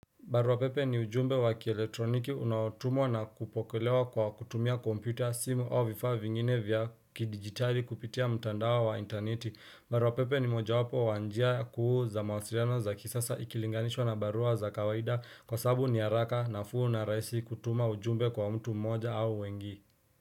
Barua pepe ni ujumbe wa kieletroniki unaotumwa na kupokelewa kwa kutumia komputa simu au vifaa vingine vya kidigitali kupitia mtandao wa interneti. Barua pepe ni moja wapo wa njia kuuza mawasiriano za kisasa ikilinganishwa na barua za kawaida kwa sabu ni haraka na fuu na raisi kutuma ujumbe kwa mtu mmoja au wengi.